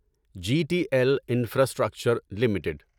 G T L infrastructure limited